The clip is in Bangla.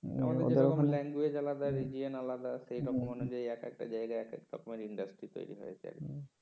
ওদের ওখানে language এ আলাদা রেডিয়েন আলাদা সেরকম অনুযায়ী এক একটা জায়গায় একেকটা industry তৈরি হয়েছে আর কি